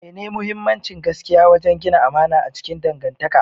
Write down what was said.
mene muhimmancin gaskiya wajen gina amana a cikin dangantaka?